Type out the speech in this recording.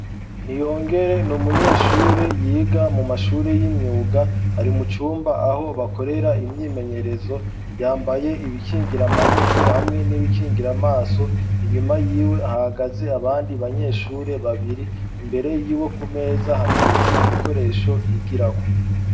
Niyongere ni umunyeshure yiga mu mashuri y'imyuga. Ari mucumba aho bakorera imyimenyerezo, yambaye ibikingira amaboko hamwe n'ibikingira amaso. Inyuma yiwe hagaze abandi banyeshure babiri, imbere yiwe ku meza hateretse ibikoresho yigirako.